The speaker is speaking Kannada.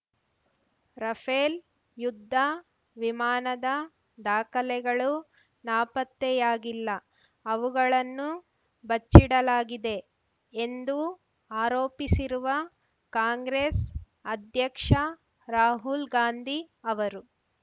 ರಫೇಲ್ ಯುದ್ಧ ವಿಮಾನದ ದಾಖಲೆಗಳು ನಾಪತ್ತೆಯಾಗಿಲ್ಲ ಅವುಗಳನ್ನು ಬಚ್ಚಿಡಲಾಗಿದೆ ಎಂದು ಆರೋಪಿಸಿರುವ ಕಾಂಗ್ರೆಸ್ ಅಧ್ಯಕ್ಷ ರಾಹುಲ್ ಗಾಂಧಿ ಅವರು